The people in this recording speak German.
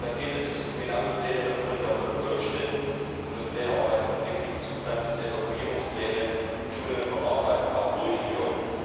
Da geht es um genaue Pläne der Produktionsstätten, man muss Pläne erarbeiten von giftigen Substanzen, Evakuierungspläne und auch Schulungen von Arbeitern durchführen.